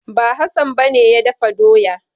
Ba, Hassan ba ne ya dafa doya.